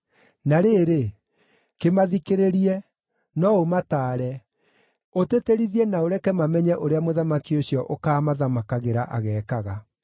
Na rĩrĩ, kĩmathikĩrĩrie; no ũmataare, ũtĩtĩrithie na ũreke mamenye ũrĩa mũthamaki ũcio ũkaamathamakagĩra ageekaga.”